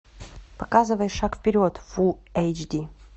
показывай шаг вперед фул эйч ди